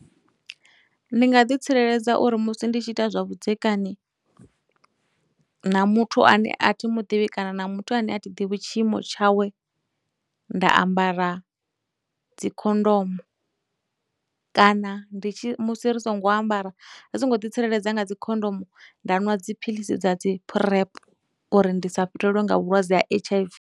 Ndi nga ḓi tsireledza uri musi ndi tshi ita zwa vhudzekani na muthu ane a thi muḓivhi kana na muthu ane a thi ḓivhi tshiimo tshawe nda ambara dzikhondomo, kana ndi tshi musi ri songo ambara, ri songo ḓi tsireledza nga dzikhondomo, nda nwa dziphilisi dza dzi PrEP uri ndi sa fhirelwe nga vhulwadze ha H_I_V.